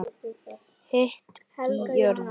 Hiti í jörðu